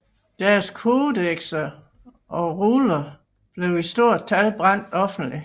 Deres kodekser og ruller blev i stort tal brændt offentligt